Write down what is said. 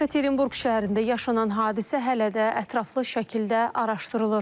Yekaterinburq şəhərində yaşanan hadisə hələ də ətraflı şəkildə araşdırılır.